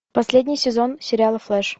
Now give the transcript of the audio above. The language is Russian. последний сезон сериала флэш